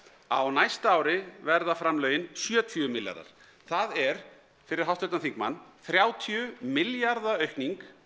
á næsta ári verða framlögin sjötíu milljarðar það er fyrir háttvirtan þingmann þrjátíu milljarða aukning